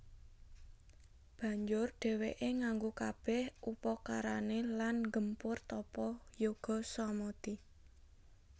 Banjur dhèwèké nganggo kabèh upakarané lan nggempur tapa yoga samadi